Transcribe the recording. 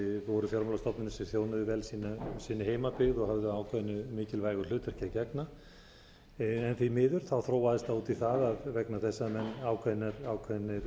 voru fjármálastofnanir sem þjónuðu vel sinni heimabyggð og höfðu ákveðnu mikilvægu hlutverki að gegna en því miður þróaðist það út í það vegna þess að menn